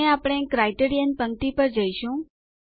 અને આપણે ક્રાઇટેરિયન પંક્તિ પર જઈશું